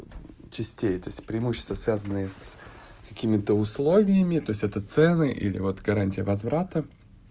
частей этот все преимущества связанные с какими-то условиями это цены или вот гарантия возврата